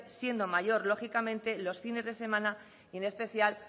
siendo mayor lógicamente los fines de semana y en especial